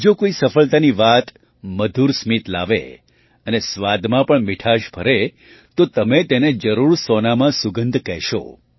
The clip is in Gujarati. જો કોઈ સફળતાની વાત મધુર સ્મિત લાવે અને સ્વાદમાં પણ મીઠાશ ભરે તો તમે તેને જરૂર સોનામાં સુગંધ કહેશો